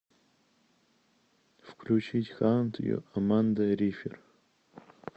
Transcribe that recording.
включить хант ю аманда рифер